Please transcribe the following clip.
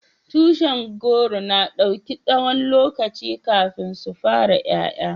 Tushin goro na dauki tsawon lokaci kafin su fara yaya.